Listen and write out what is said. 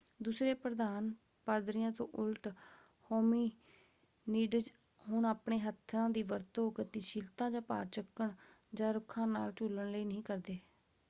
ਦੂਸਰੇ ਪ੍ਰਧਾਨ ਪਾਦਰੀਆਂ ਤੋਂ ਉਲਟ ਹੋਮਿਨੀਡਜ਼ ਹੁਣ ਆਪਣੇ ਹੱਥਾਂ ਦੀ ਵਰਤੋਂ ਗਤੀਸ਼ੀਲਤਾ ਜਾਂ ਭਾਰ ਚੁੱਕਣ ਜਾਂ ਰੁੱਖਾਂ ਨਾਲ ਝੂਲਣ ਲਈ ਨਹੀਂ ਕਰਦੇ।